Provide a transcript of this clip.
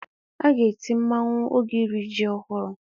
A ga-eti mmanwụ oge iri ji ọhụrụ.